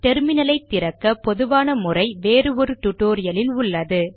terminal ஐ திறக்க பொதுவான முறை வேறு ஒரு டுடோரியலில் உள்ளது